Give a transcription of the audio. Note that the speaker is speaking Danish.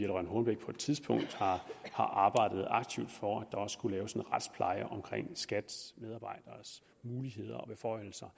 rønn hornbech på et tidspunkt har arbejdet aktivt for at der skulle findes en retspleje omkring skats medarbejderes muligheder og beføjelser